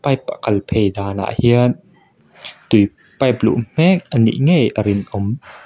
pipe a kal phei dan ah hian tui pipe luh hmek anih ngei a rinawm.